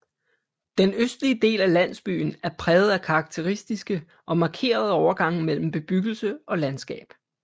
Den østlige del af landsbyen er præget af karakteristiske og markerede overgange mellem bebyggelse og landskab